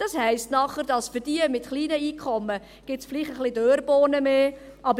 Das heisst dann, dass es für diejenigen mit kleinen Einkommen vielleicht ein paar Dörrbohnen mehr gibt.